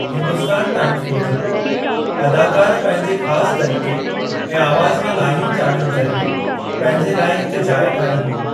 Hindustan times मूजिब, “अदाकर पंहिंजे ख़ास तरीक़े ऐं आवाज़ु में लाहियुनि-चाढ़ियुनि ज़रिए पंहिंजे लाइ हिक जाइ ठाई हुई।